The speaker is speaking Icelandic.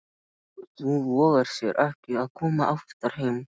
Þú vogar þér ekki að koma oftar heim!